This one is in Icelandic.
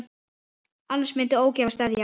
Annars myndi ógæfa steðja að.